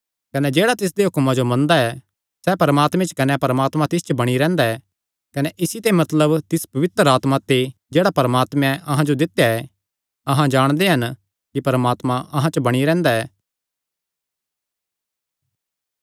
कने जेह्ड़ा तिसदे हुक्मां जो मनदा ऐ सैह़ परमात्मे च कने परमात्मा तिस च बणी रैंह्दा ऐ कने इसी ते मतलब तिस पवित्र आत्मा ते जेह्ड़ा परमात्मे अहां जो दित्या ऐ अहां जाणदे हन कि परमात्मा अहां च बणी रैंह्दा ऐ